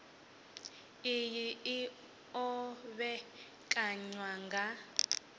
iyi i o vhekanywa nga